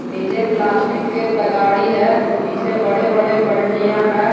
नीचे प्लास्टिक के तगाड़ी है पीछे बड़े बड़े बल्टियां है।